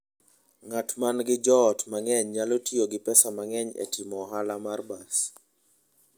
Ng'at ma nigi joot mang'eny nyalo tiyo gi pesa mang'eny e timo ohala mar bas.